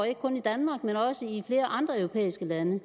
ikke kun i danmark men også i flere andre europæiske lande